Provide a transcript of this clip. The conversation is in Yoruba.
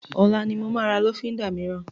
Ọlá ni mo máa ra lọ́fíndà mìíràn